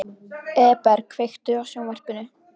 Eberg, kveiktu á sjónvarpinu.